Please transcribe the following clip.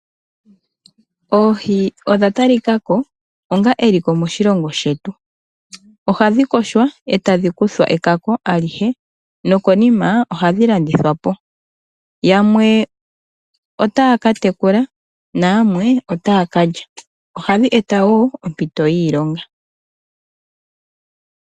Oohi odha talikako onga eliko moshilongo shetu, ohadhi yogwa e tadhi kuthwa ekako alihe opo dhi vule okulandithwapo. Aantu yamwe otaaka tekula nayamwe otaya kalya nohadhi eta wo oompito dhiilonga.